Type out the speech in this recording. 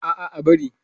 A'a, ba'a bari.